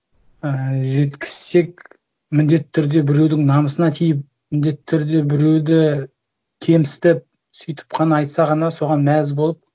і жеткізсек міндетті түрде біреудің намысына тиіп міндетті түрде біреуді кемсітіп сөйтіп қана айтса ғана соған мәз болып